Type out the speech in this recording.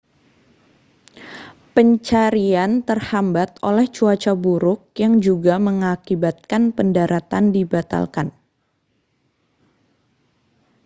pencarian terhambat oleh cuaca buruk yang juga mengakibatkan pendaratan dibatalkan